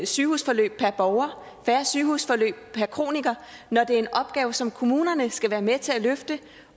sygehusforløb per borger færre sygehusforløb per kroniker når det er en opgave som kommunerne skal være med til at løfte